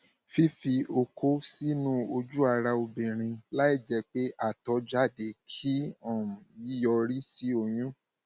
fífi okó sínú sínú ojú ara obìnrin láìjẹ pé àtọ jáde kì um í yọrí sí oyún